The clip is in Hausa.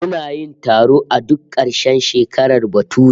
Muna yin taro a duk karshen shekarar bature